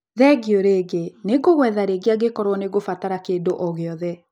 Thengio rĩngĩ. Nĩngũgwetha rĩngĩ angĩkorwo nĩngũbatara kĩndũ o gĩothe.